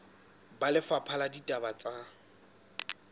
ba lefapha la ditaba tsa